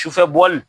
Sufɛ bɔli